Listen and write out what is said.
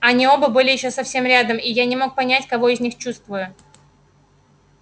они оба были ещё совсем рядом и я не мог понять кого из них чувствую